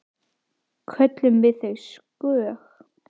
Köllum við þau skóg?